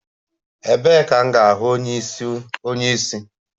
Ebee ka m ga-ahụ onye isi?